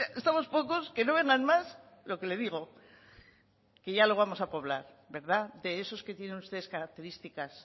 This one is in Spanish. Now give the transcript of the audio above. estamos pocos que no vengan más lo que le digo que ya lo vamos a poblar verdad de esos que tienen ustedes características